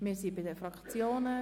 Wir sind bei den Fraktionen.